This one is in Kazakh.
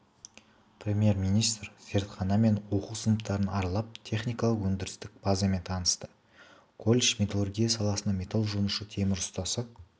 премьер-министр зертхана мен оқу сыныптарын аралап техникалық-өндірістік базамен танысты колледж металлургия саласына металл жонушы темір ұстасы